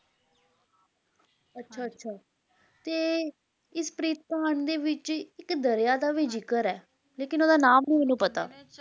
ਅੱਛਾ ਅੱਛਾ ਤੇ ਇਸ ਪ੍ਰੀਤ ਕਹਾਣੀ ਦੇ ਵਿਚ ਇੱਕ ਦਰਿਆ ਦਾ ਵੀ ਜਿਕਰ ਹੈ ਲੇਕਿਨ ਓਹਦਾ ਨਾਮ ਨੀ ਮੈਨੂੰ ਪਤਾ